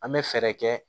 An bɛ fɛɛrɛ kɛ